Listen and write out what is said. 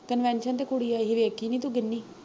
convention ਤੇ ਕੁੜੀ ਆਈ ਸੀ, ਵੇਖੀ ਨੀ ਤੂੰ ਗਿਨੀ